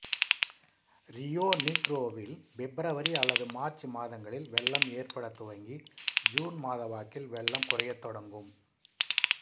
Rio நீக்ரோவில் February அல்லது March மாதங்களில் வெள்ளம் ஏற்பட துவங்கி ஜூன் மாத வாக்கில் வெள்ளம் குறையத்தொடங்கும்